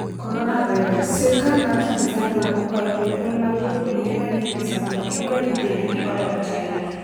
Coronavirus: Sirkal mar Tanzania okwayo jonyuol mag jopuonjre ma ni e rusa mondo kik we nyithindgi odog China